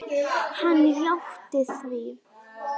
Hann játti því.